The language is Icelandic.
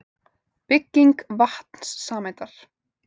Bygging vatnssameindar.